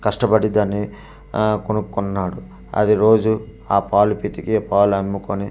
కష్టపడి దాన్ని ఆఆ కొనుక్కున్నాడు అది రోజు ఆ పాలు పితికి ఆ పాలు అమ్ముకొని తన--